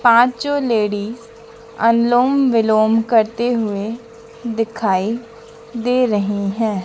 पांचो लेडीज अनुलोम विलोम करते हुए दिखाई दे रही हैं।